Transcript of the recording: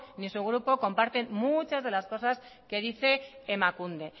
ni su grupo comparten muchas de las cosas que dice emakunde